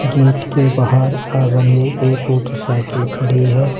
Gate के बाहर आंगन में एक मोटरसाइकिल खड़ी है।